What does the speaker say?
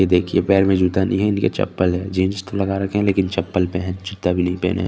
ये दिखिए पैर में जूता नहीं है ये चप्पल है जीन्स तो लगा रखी है लेकिन चप्पल पहन जूता भी नहीं पहने --